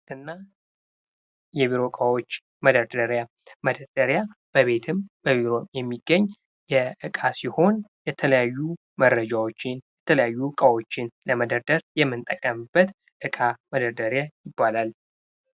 የቤት እና የቢሮ እቃዎች፦ መደርደሪያ መደርደሪያ በቤትም ሆነ በቢሮ የሚገኝ እቃ ሲሆን የትለያዩ መረጃዎችን የተለያዩ እቃዎችን ለመደርደር የምንጠቀምበት እቃ መደርደሪያ ይባላል።